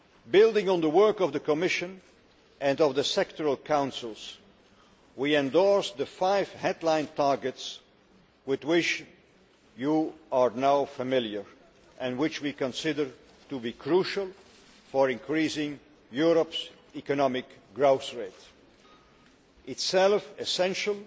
Building on the work of the Commission and of the sectoral councils, we endorsed the five headline targets with which you are now familiar and which we consider to be crucial for increasing Europe's economic growth rate in itself essential